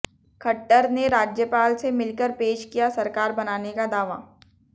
खट्टर ने राज्यपाल से मिलकर पेश किया सरकार बनाने का दावा